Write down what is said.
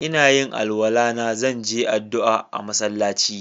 Ina yin alwala na, zan je addu'a a'masallaci.